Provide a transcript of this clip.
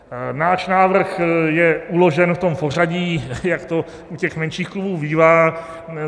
Náš návrh je uložen v tom pořadí, jak to u těch menších klubů bývá.